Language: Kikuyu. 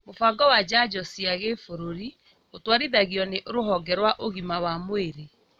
Mũbango wa njanjo cia gĩbũrũri ũtwarithagio nĩ rũhonge rwa ũgima wa mwĩrĩ